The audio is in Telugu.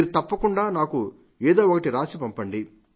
మీరు తప్పకుండా నాకు ఏదో ఒకటి రాసిపంపిండి